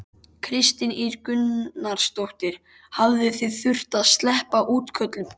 Kristín Ýr Gunnarsdóttir: Hafið þið þurft að sleppa útköllum?